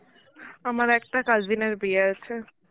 আমার একটা cousin এর বিয়ে আছে.